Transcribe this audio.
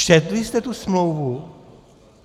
Četli jste tu smlouvu?